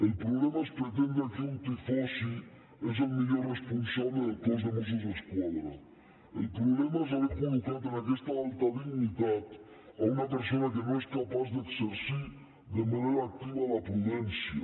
el problema és pretendre que un tifosi és el millor responsable del cos de mossos d’esquadra el problema és haver col·locat en aquesta alta dignitat una persona que no és capaç d’exercir de manera activa la prudència